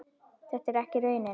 Þetta er ekki raunin.